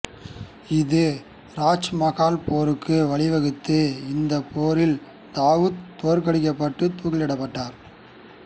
இது ராஜ்மகால் போருக்கு வழிவகுத்தது இந்தப் போரில் தாவுத் தோற்கடிக்கப்பட்டு தூக்கிலிடப்பட்டார்